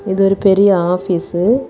இது ஒரு பெரிய ஆபீசு .